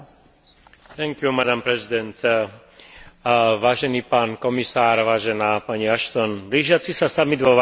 Blížiaci sa samit vo Varšave prináša nádej na oživenie vzťahov EÚ so svojimi východnými partnermi.